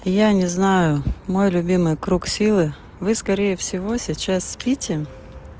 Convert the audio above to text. я не знаю мой любимый круг силы вы скорее всего сейчас спите